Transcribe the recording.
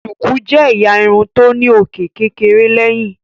Shuku jé ẹyà Irun tó ní òkè kékeré léyìn.